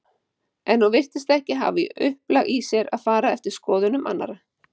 En hún virtist ekki hafa upplag í sér til að fara eftir skoðunum annarra.